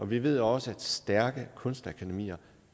vi ved også at stærke kunstakademier